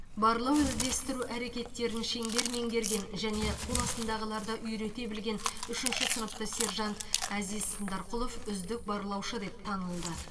барлау іздестіру әрекеттерін шеңбер меңгерген және қол астындағыларды үйрете білген үшінші сыныпты сержант әзиз сындарқұлов үздік барлаушы деп танылды